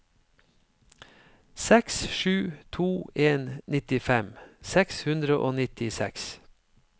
seks sju to en nittifem seks hundre og nittiseks